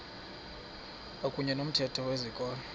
kwakuyne nomthetho wezikolo